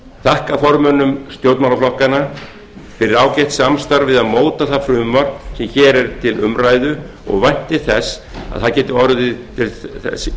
þakka formönnum stjórnmálaflokkanna fyrir ágætt samstarf við að móta það frumvarp sem hér er til umræðu ég vænti að það geti orðið til þess að